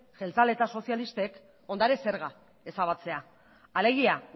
jeltzaleek eta sozialistek ondare zerga ezabatzea alegia